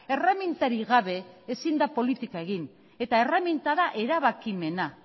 erremintarik gabe ezin da politikarik egin eta herramienta da erabakimena